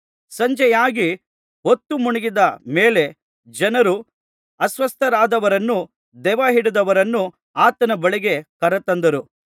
ಸಂಜೆಯಾಗಿ ಹೊತ್ತು ಮುಳುಗಿದ ಮೇಲೆ ಜನರು ಅಸ್ವಸ್ಥರಾದವರನ್ನೂ ದೆವ್ವಹಿಡಿದವರನ್ನೂ ಆತನ ಬಳಿಗೆ ಕರತಂದರು